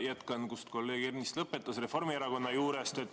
Jätkan, kus kolleeg Ernits lõpetas, Reformierakonna juurest.